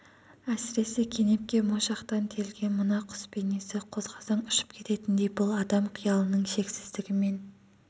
әсіресе кенепке моншақтан терілген мына құс бейнесі қозғасаң ұшып кететіндей бұл адам қиялының шексіздігі мен